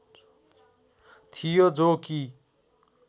थियो जो कि